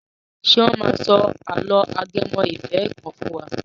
Ṣé wọ́n máa sọ àlọ́ ajẹmọ ìfẹ́ kan fún wa?